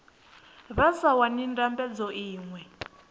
vha sa wani ndambedzo iṅwe